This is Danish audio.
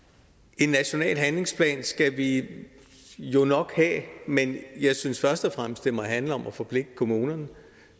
en national handlingsplan skal vi jo nok have men jeg synes først og fremmest handler om at forpligte kommunerne